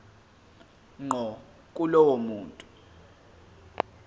ngqo kulowo muntu